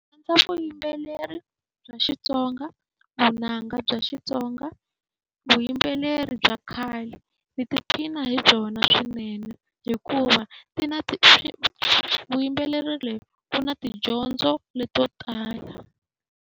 Ndzi rhandza vuyimbele bya Xitsonga vunanga bya Xitsonga, vuyimbeleri bya khale. Hi ti phina hi byona swinene, hikuva byi na vuyimbeleri lebyi byi na tidyondzo leto tala.